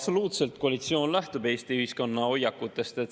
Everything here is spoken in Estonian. Koalitsioon absoluutselt lähtub Eesti ühiskonna hoiakutest.